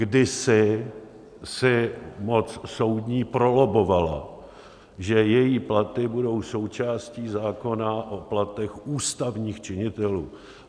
Kdysi si moc soudní prolobbovala, že její platy budou součástí zákona o platech ústavních činitelů.